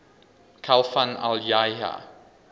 khalfan al yahya